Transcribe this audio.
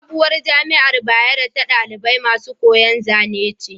Sabuwar jamiar bayero ta ɗalibai masu koyan Zane ce